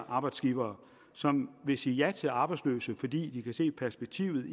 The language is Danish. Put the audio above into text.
arbejdsgivere som vil sige ja til de arbejdsløse fordi de kan se perspektivet